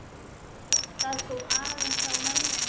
Það kom aðeins á mömmu.